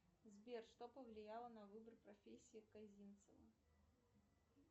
сбер что повлияло на выбор профессии казинцева